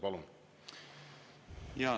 Palun!